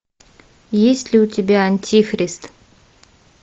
есть ли у тебя антихрист